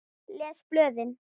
Les blöðin.